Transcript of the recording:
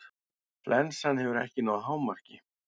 Flensan hefur ekki náð hámarki.